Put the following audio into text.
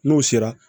N'o sera